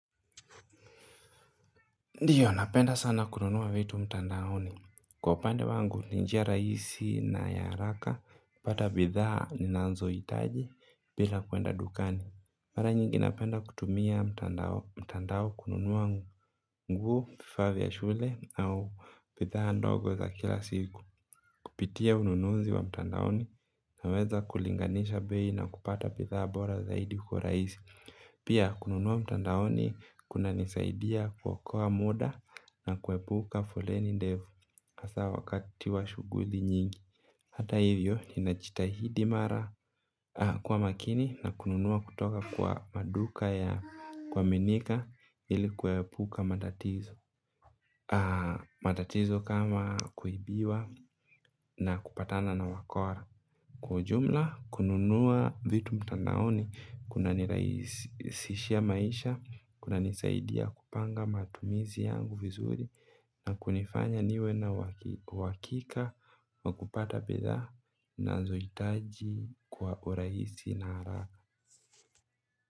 Ndiyo napenda sana kununua vitu mtandaoni. Kwa upande wangu, ni njia rahisi na ya haraka, kupata bidhaa ninazohitaji, bila kuenda dukani. Mara nyingi napenda kutumia mtandao kununua nguo, vifaa vya shule, au bidhaa ndogo za kila siku. Kupitia ununuzi wa mtandaoni, naweza kulinganisha bei na kupata bidhaa bora zaidi kwa urahisi. Pia, kununua mtandaoni, kunanisaidia muda, na kuepuka foleni ndefu hasa wakati wa shuguli nyingi. Hata hivyo ninajitahidi mara kuwa makini na kununua kutoka kwa maduka ya kuaminika ili kuepuka matatizo. Matatizo kama kuibiwa na kupatana na wakora. Kwa ujumla kununua vitu mtandaoni kunanirahisishia maisha, kunanisaidia kupanga matumizi yangu vizuri na kunifanya niwe na uhakika wa kupata bidhaa unazojitaji kwa urahisi na haraka.